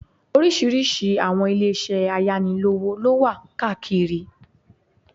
Oríṣiríṣi àwọn ilé isẹ́ ayánilówó lówà káàkiri